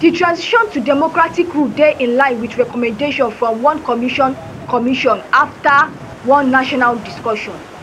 di transition to democratic rule dey in line wit recommendations from one commission commission afta one national discussion